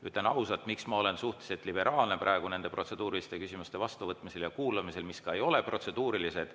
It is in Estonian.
Ütlen ausalt, miks ma olen suhteliselt liberaalne praegu nende protseduuriliste küsimuste vastuvõtmisel ja kuulamisel, ka siis, kui nad ei ole tegelikult protseduurilised.